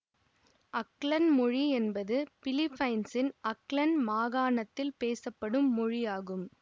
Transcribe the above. அக்லன் மொழி என்பது பிலிப்பைன்சின் அக்லன் மாகாணத்தில் பேசப்படும் மொழி ஆகும்